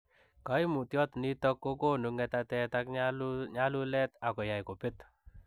Kaimutyot nitok kokonuu ngetatet ak nyalulet akoyai kopeet